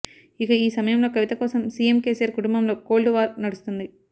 ఇక ఈ సమయంలో కవిత కోసం సీఎం కేసీఆర్ కుటుంబంలో కోల్డ్ వార్ నడుస్తుంది